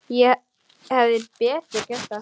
Ég hefði betur gert það.